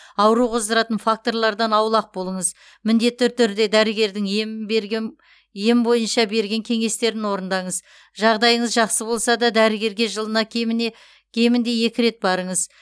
ауру қоздыратын факторлардан аулақ болыңыз міндетті түрде дәрігердің ем бойынша берген кеңестерін орындаңыз жағдайыңыз жақсы болса да дәрігерге жылына кемінде екі рет барыңыз